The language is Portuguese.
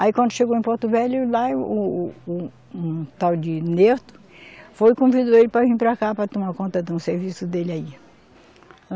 Aí, quando chegou em Porto Velho, lá o, o, o, um tal de Nerto, foi e convidou ele para vir para cá, para tomar conta de um serviço dele aí.